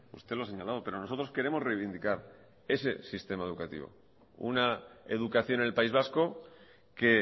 usted lo ha señalado pero nosotros queremos reivindicar ese sistema educativo una educación en el país vasco que